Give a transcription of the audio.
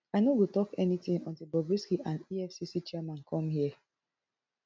i no go tok anytin until bobrisky and effc chairman come here